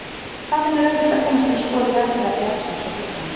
Þaðan er auðvelt að komast til að skoða jarðfræði bjargsins og fuglana.